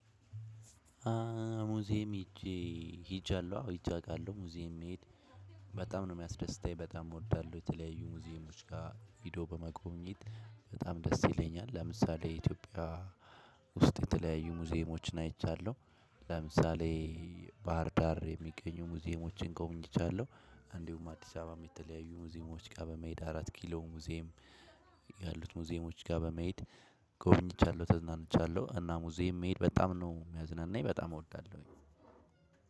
ሙዚየም ሄጄ ሄጃለሁ። አዎ ሄጃ አቃለሁ ሙዚየም መሄድ በጣም ነው የሚያስደስተኝ በጣም እወዳለሁ። የተለያዩ ሙዚየሞች ጋ ሄዶ በመጎብኘት በጣም ደስ ይለኛል። ለምሳሌ ኢትዮጵያ ውስጥ የተለያዩ ሙዚየሞችን አይቻለሁ። ለምሳሌ ባህር ዳር የሚገኙ ሙዚየሞችን ጎብኝቻለሁ። እንዲሁም አዲሳባም የተለያዩ ሙዚየሞችጋ በመሄድ አራት ኪሎ ሙዚየም ያሉት ሙዚየሞች ጋር በመሄድ ጎብኝቻለሁ ተዝናንቻለሁ። እና ሙዚየም መሄድ በጣም ነው የሚያዝናናኝ በጣም እወዳለሁኝ።